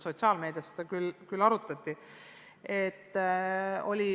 Sotsiaalmeedias seda tõesti arutati.